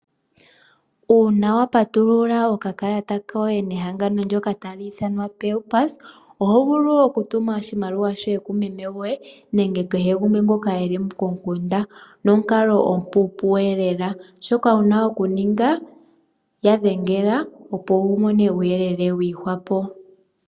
Uuna wapatulula okakalata koye yehangano ndoka talithanwa paypulse ohovulu okutuma oshimaliwa kumeme goye nenge kehe ngumwe eli komukunda nomukalo omupupuka lela shoka wapumbwa okuninga yadhengela opo wumone uyelele wihwapo.